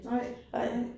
Nej nej